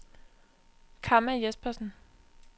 Kamma Jespersen